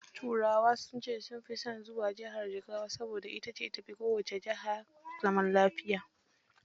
Turawa sun ce sun fi son zuwa Jigawa, saboda ita ce jihar da ta fi kowacce jiha zaman lafiya.